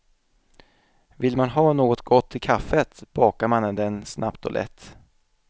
Vill man ha något gott till kaffet bakar man den snabbt och lätt.